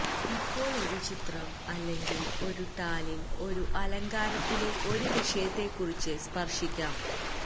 ഇപ്പോൾ ഒരു ചിത്രം അല്ലെങ്കിൽ ഒരു ടാലിൽ ഒരു അലങ്കാരത്തിലെ ഒരു വിഷയത്തെക്കുറിച്ച് സ്പർശിക്കാം